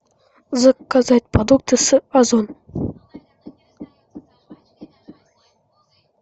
заказать продукты с озон